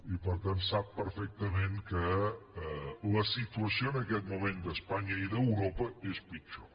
i per tant sap perfectament que la situació en aquest moment d’espanya i d’europa és pitjor